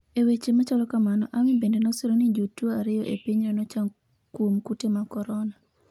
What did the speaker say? e weche machalo kamano Ummy bende nosiro ni jotuo ariyo e pinyno nochango kouom kute mag korona